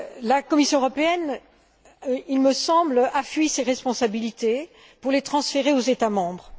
La Commission européenne, il me semble, a fui ses responsabilités pour les transférer aux États membres.